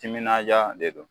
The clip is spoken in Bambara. Timinadiya de don